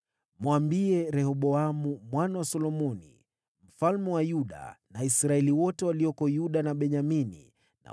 “Mwambie Rehoboamu mwana wa Solomoni mfalme wa Yuda, na Israeli wote walioko Yuda na Benyamini,